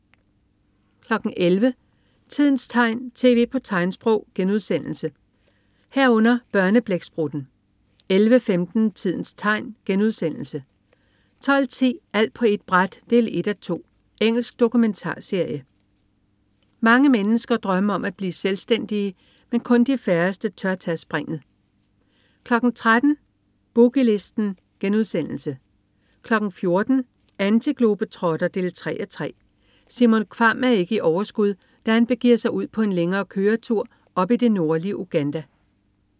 11.00 Tidens tegn, tv på tegnsprog* 11.00 Børneblæksprutten* 11.15 Tidens tegn* 12.10 Alt på ét bræt 1:2. Engelsk dokumentarserie. Mange mennesker drømmer om at blive selvstændige, men kun de færreste tør tage springet 13.00 Boogie Listen* 14.00 Antiglobetrotter 3:3. Simon Kvamm er ikke i overskud, da han begiver sig ud på en længere køretur op i det nordlige Uganda